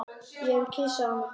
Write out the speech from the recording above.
Ég vil kyssa hana.